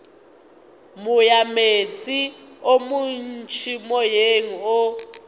moyameetse o montši moyeng o